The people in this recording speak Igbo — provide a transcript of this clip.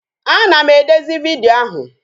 A na m edezi vidiyo ahụ